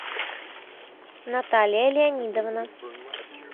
наталья леонидовна